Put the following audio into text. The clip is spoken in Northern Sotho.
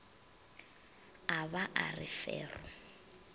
a ba a re fero